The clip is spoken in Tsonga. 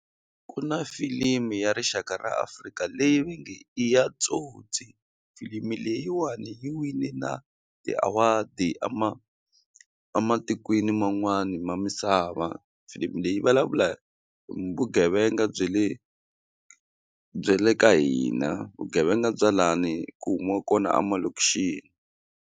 Ku na filimi ya rixaka ra Afrika leyi va nge i ya Tsotsi filimi leyiwani yi wine na ti-award a ma ematikweni man'wani misava filimi leyi hi vulavula vugevenga bya le bya le ka hina vugevenga bya lani ku humiwaka kona emalokixini.